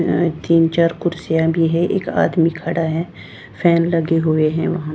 अं तीन चार कुर्सियाँ भी है एक आदमी खड़ा है फॅन लगे हुए है वहाँ--